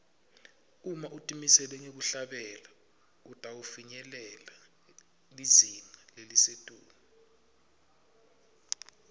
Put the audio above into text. uma utimisele ngekuhlabela utawufinyelela lizinga lelisetulu